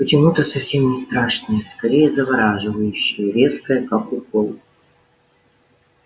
почему-то совсем не страшное скорее завораживающее резкое как укол